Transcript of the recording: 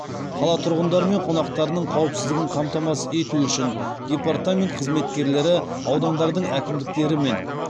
қала тұрғындары мен қонақтарының қауіпсіздігін қамтамасыз ету үшін департамент қызметкерлері аудандардың әкімдіктерімен